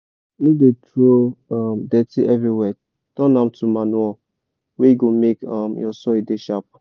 no dey throw um dirty everywhere turn am to manure wey go make um your soil dey sharp.